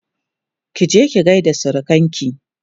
kije ki gaida surukanki!